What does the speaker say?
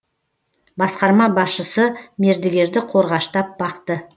басқарма басшысы мердігерді қорғаштап бақты